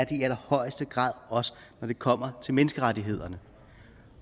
i allerhøjeste grad også når det kommer til menneskerettighederne